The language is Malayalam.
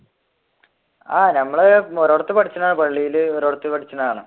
ആഹ് ഞമ്മള് ഒരടുത്തു പഠിച്ചതാണ് പള്ളിയിൽ ഒരിടത്തു പഠിച്ചതാണ്